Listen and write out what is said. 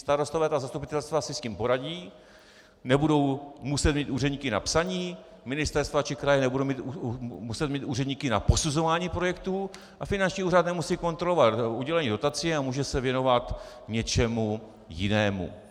Starostové a zastupitelstva si s tím poradí, nebudou muset mít úředníky na psaní, ministerstva či kraje nebudou muset mít úředníky na posuzování projektů a finanční úřad nemusí kontrolovat udělení dotací a může se věnovat něčemu jinému.